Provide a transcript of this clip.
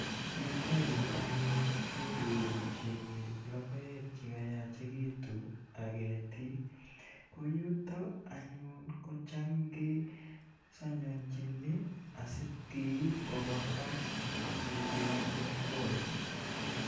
Yutayu anyun kirurukchini logoek che kayachekitu ak ketik. Ko yuto anyun ko cham kesanyanchin asikeip kopa mbar asikokonu akwaindo.